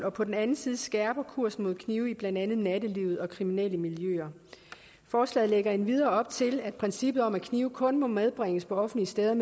og på den anden side skærper kursen mod knive i blandt andet nattelivet og kriminelle miljøer forslaget lægger endvidere op til at princippet om at knive kun må medbringes på offentlige steder